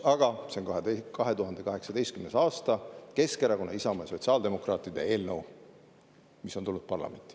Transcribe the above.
Aga see on 2018. aasta, Keskerakonna, Isamaa ja sotsiaaldemokraatide eelnõu, mis on tulnud parlamenti.